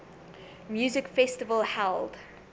music festival held